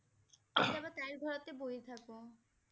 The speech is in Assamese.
কেতিয়াবা তাইৰ ঘৰতে বহি থাকো